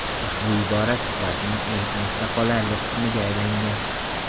Ushbu ibora suhbatning eng esda qolarli qismiga aylangan.